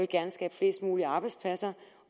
gerne skabe flest mulige arbejdspladser